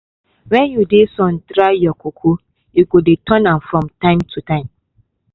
wen you dey sun dry your cocoa you go dey turn am from time to time.